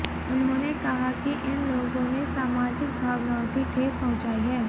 उन्होंने कहा कि इन लोगों ने सामाजिक भावनाओं की ठेस पहुंचाई है